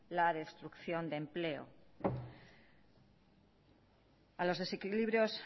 la destrucción de empleo a los desequilibrios